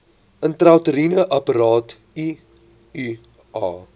intrauteriene apparaat iua